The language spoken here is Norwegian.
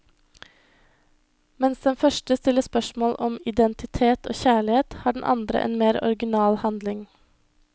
Mens den første stiller spørsmål om identitet og kjærlighet, har den andre en mer original handling.